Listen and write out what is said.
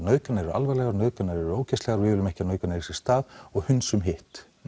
nauðganir eru alvarlegar og nauðganir eru ógeðslegar og við viljum ekki að nauðganir eigi sér stað og hunsum hitt